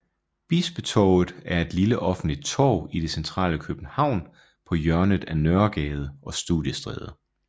Bispetorvet er et lille offentligt torv i det centrale København på hjørnet af Nørregade og Studiestræde